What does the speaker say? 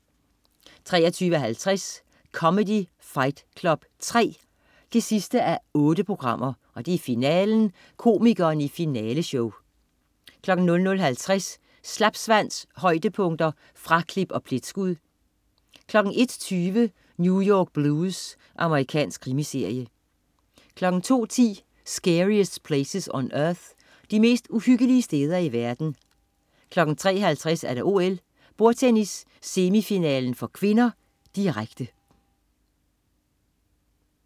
23.50 Comedy Fight Club 3 8:8. Finalen. Komikerne i finaleshow 00.50 Slapsvans. højdepunkter, fraklip og pletskud 01.20 New York Blues. Amerikansk krimiserie 02.10 Scariest Places on Earth. De mest uhyggelige steder i verden 03.50 OL: Bordtennis, semifinale (k), direkte